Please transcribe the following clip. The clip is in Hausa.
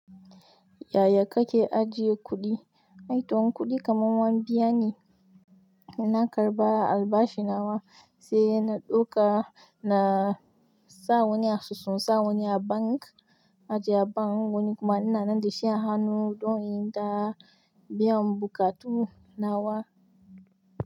Yaya kake ajiye kuɗi? Ai to in kuɗi kaman an biya ne. Na karɓa albashi nawa, sai na ɗauka na in sa wani asusu, in sa wani a bank, ajiye a bank wani kuma ina nan da shi a hannu don in yi ta biyan buƙatu nawa.